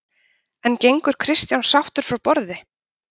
En gengur Kristján sáttur frá borði?